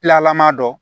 ma dɔ